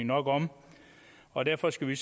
nok om og derfor skal vi